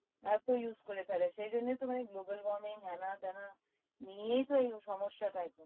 এতো use করে ফেলে সেই জন্যই তো মানে global warming হ্যানা ত্যানা নিয়েই তো এই সমস্যা টা